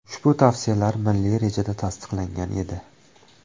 Ushbu tavsiyalar milliy rejada tasdiqlangan edi.